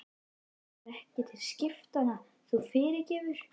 Þetta er ekki til skiptanna, þú fyrirgefur.